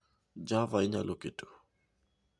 Java inyalo keto